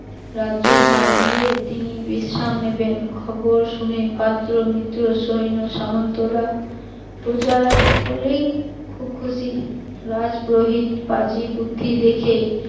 রাজ্যভার দিয়ে তিনি বিশ্রাম নেবেন, খবর শুনে পাত্র মিত্র সৈন্য সামন্তরা প্রজারা সকলেই খুব খুশি, রাজ পুরোহিত পাজি পুথি দেখে